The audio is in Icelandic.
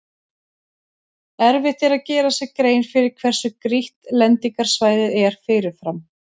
Erfitt er að gera sér grein fyrir hversu grýtt lendingarsvæðið er fyrirfram.